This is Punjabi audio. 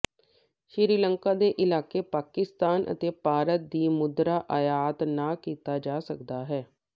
ਸ੍ਰੀਲੰਕਾ ਦੇ ਇਲਾਕੇ ਪਾਕਿਸਤਾਨ ਅਤੇ ਭਾਰਤ ਦੀ ਮੁਦਰਾ ਆਯਾਤ ਨਾ ਕੀਤਾ ਜਾ ਸਕਦਾ ਹੈ